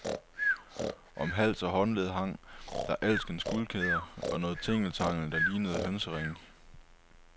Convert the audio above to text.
Om hals og håndled hang der alskens guldkæder og noget tingeltangel, der lignede hønseringe.